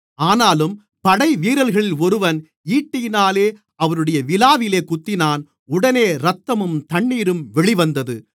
ஆனாலும் படைவீரர்களில் ஒருவன் ஈட்டியினாலே அவருடைய விலாவில் குத்தினான் உடனே இரத்தமும் தண்ணீரும் வெளிவந்தது